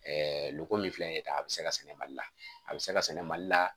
loko min filɛ nin ye tan a bɛ se ka sɛnɛ mali la a bɛ se ka sɛnɛ mali la